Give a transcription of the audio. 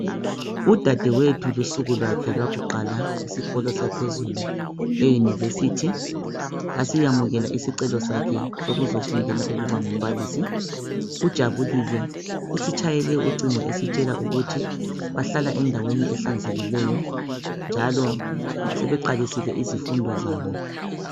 udadewethu lusuku lwakhe lwakuqala esikolo saphezulu e university basiyamukela isicelo sakhe sokuzofundela ukuba ngumbalisi ujabulile usitshayele ucingo esitshela ukuthi bahlala endaweni hlanzekileyo njalo sebeqalisile izifundo zabo